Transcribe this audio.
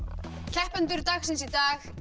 keppendur dagsins í dag